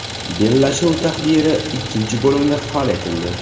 Bellashuv taqdiri ikkinchi bo‘limda hal etildi.